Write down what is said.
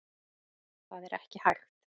Það er ekki hægt.